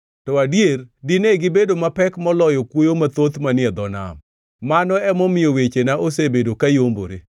to adier, dine gibedo mapek moloyo kwoyo mathoth manie dho nam, mano emomiyo wechena osebedo ka yombore.